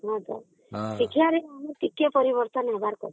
ହଁ ତ ଶିକ୍ଷା ରେ କିନ୍ତୁ ଟିକେ ପରିବର୍ତନ ହେବାର କଥା